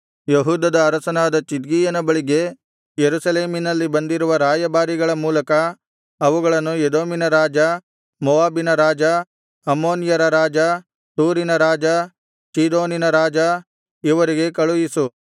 ಯೆಹೂದದ ಅರಸನಾದ ಚಿದ್ಕೀಯನ ಬಳಿಗೆ ಯೆರೂಸಲೇಮಿನಲ್ಲಿ ಬಂದಿರುವ ರಾಯಭಾರಿಗಳ ಮೂಲಕ ಅವುಗಳನ್ನು ಎದೋಮಿನ ರಾಜ ಮೋವಾಬಿನ ರಾಜ ಅಮ್ಮೋನ್ಯರ ರಾಜ ತೂರಿನ ರಾಜ ಚೀದೋನಿನ ರಾಜ ಇವರಿಗೆ ಕಳುಹಿಸು